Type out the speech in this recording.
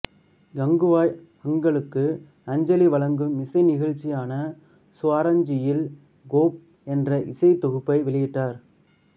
கங்குபாய் ஹங்கலுக்கு அஞ்சலி வழங்கும் இசை நிகழ்ச்சியான சுவராஞ்சலியில் கோப் என்ற இசைத் தொகுப்பை வெளியிட்டார்